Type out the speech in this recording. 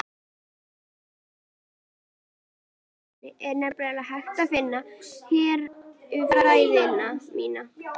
Í hettuúlpunni er nefnilega að finna herfræði mína.